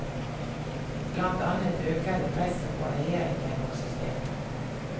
Blant annet øker det presset på regjeringen og systemet.